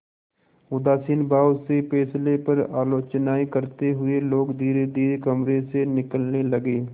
उदासीन भाव से फैसले पर आलोचनाऍं करते हुए लोग धीरेधीरे कमरे से निकलने लगे